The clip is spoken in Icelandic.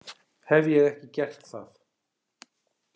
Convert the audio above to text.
Hef ég ekki gert það?